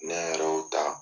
Ne yɛrɛ y'o ta